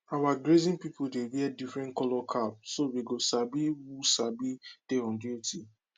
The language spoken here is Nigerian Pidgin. our grazing people dey wear different colour cap so we go sabi who sabi who dey on duty